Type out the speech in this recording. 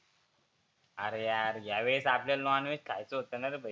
आरे यार ह्या वेळेस आपल्याला नॉनव्हेज खायचं होतं नारे भो.